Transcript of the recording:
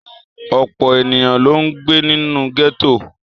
Ọ̀pọ̀ ènìyàn ló ń gbé nínú gẹ́tò.